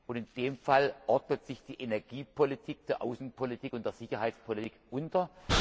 Und in dem Fall ordnet sich die Energiepolitik der Außenpolitik und der Sicherheitspolitik unter.